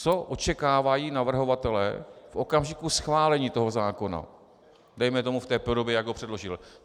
Co očekávají navrhovatelé v okamžiku schválení toho zákona, dejme tomu v té podobě, jak ho předložili?